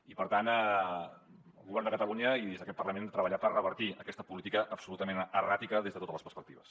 i per tant el govern de catalunya i des d’aquest parlament hem de treballar per revertir aquesta política absolutament erràtica des de totes les perspectives